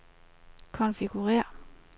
konfigurér